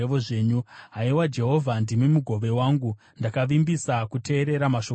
Haiwa, Jehovha, ndimi mugove wangu; ndakavimbisa kuteerera mashoko enyu.